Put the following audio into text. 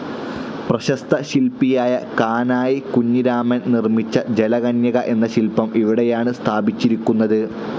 പ്രശസ്ത ശില്പിയായ കാനായി കുഞ്ഞിരാമൻ നിർമ്മിച്ച ജലകന്യക എന്ന ശിൽപം ഇവിടെയാണ് സ്ഥാപിച്ചിരിക്കുന്നത്.